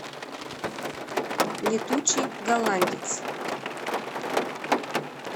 летучий голландец